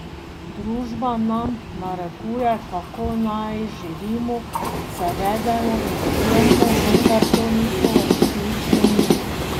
Družba nam narekuje, kako naj živimo, se vedemo in delujemo, vendar to nismo resnično mi.